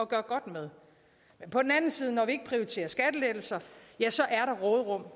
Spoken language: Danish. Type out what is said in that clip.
gøre godt med men når vi ikke prioriterer skattelettelser